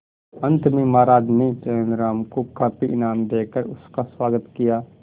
अंत में महाराज ने तेनालीराम को काफी इनाम देकर उसका स्वागत किया